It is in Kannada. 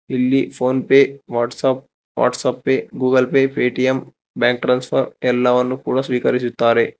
ಇಲ್ಲಿ PhonePe WhatsApp WhatsApp Pay Google Pay Paytm bank ಟ್ರನ್ಸನ ಎಲ್ಲವನ್ನು ಕೂಡ ಸ್ವೀಕರಿಸುತ್ತಾರೆ.